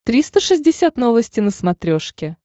триста шестьдесят новости на смотрешке